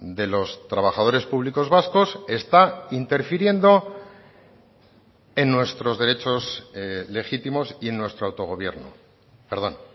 de los trabajadores públicos vascos está interfiriendo en nuestros derechos legítimos y en nuestro autogobierno perdón